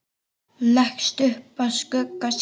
Leggst upp að skugga sínum.